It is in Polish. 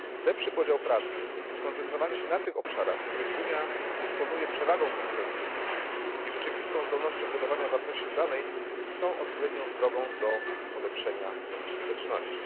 Lepszy podział pracy, skoncentrowanie się na tych obszarach, w których Unia dysponuje przewagą konkurencyjną i rzeczywistą zdolnością budowania wartości dodanej, są odpowiednią drogą do zwiększenia skuteczności.